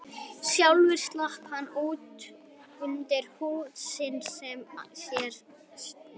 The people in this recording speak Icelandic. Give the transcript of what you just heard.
Sjálfur slapp hann út undir hrút risans og hélt sér í ullina.